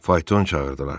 Fayton çağırdılar.